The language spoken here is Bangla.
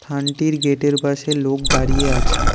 গেট -এর পাশে লোক দাঁড়িয়ে আছে।